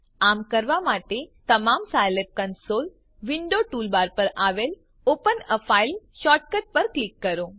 આમ કરવા માટે તમારા સાયલેબ કંસોલ વિન્ડો ટૂલબાર પર આવેલ open a ફાઇલ શોર્ટકટ પર ક્લિક કરો